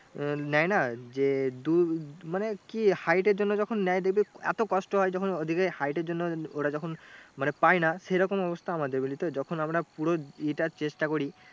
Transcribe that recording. আহ নেয় না যে দু মানে কি hight এর জন্য যখন নেয় দেখবি এতো কষ্ট হয় যখন ওদিকে hight এর জন্য ওরা যখন মানে পায় না মানে সেরকম অবস্থা আমাদের বুঝলি তো যখন আমরা পুরো এ টা চেষ্টা করি